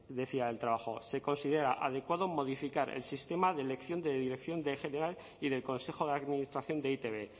decía el trabajo se considera adecuado modificar el sistema de elección de dirección en general y del consejo de administración de e i te be